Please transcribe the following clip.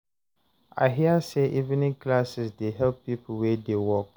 I hear say evening classes dey help people wey dey work